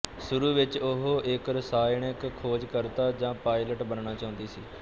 ਸ਼ੁਰੂ ਵਿੱਚ ਉਹ ਇੱਕ ਰਸਾਇਣਕ ਖੋਜਕਰਤਾ ਜਾਂ ਪਾਇਲਟ ਬਣਨਾ ਚਾਹੁੰਦੀ ਸੀ